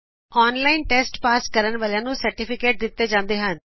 ਜੋ ਕੋਈ online test pass ਕਰਦਾ ਹੈ ਉਹਨਾ ਨੂੰ ਪਰਿਣਾਮ ਪਤਰ ਵੀ ਦਿੰਤਾ ਜਾਂਦਾ ਹੈ